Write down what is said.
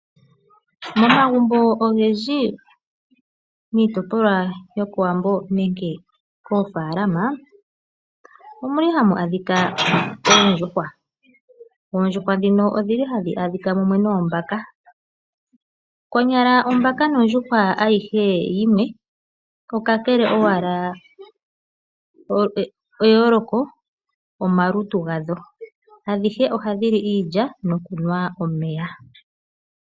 Momagumbo ogendji miitopolwa yokOwambo nenge moofaalama ohamu adhika oondjuhwa. Oondjuhwa ndhino ohadhi adhika mumwe noombaka. Konyala ombaka nondjuhwa ayihe yimwe, eyooloko omalutu gadho. Adhihe ohadhi li iilya nokunwa omeya.